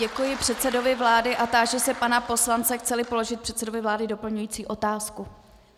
Děkuji předsedovi vlády a táži se pana poslance, chce-li položit předsedovi vlády doplňující otázku.